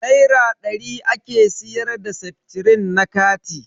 Naira dari ake siyar da seftrin na kati.